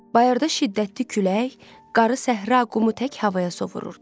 Bayırda şiddətli külək, qarı səhra qumu tək havaya sovrurdu.